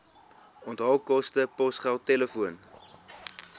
onthaalkoste posgeld telefoon